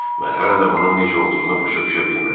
Mən hələ də bunun necə olduğunu başa düşə bilmirəm.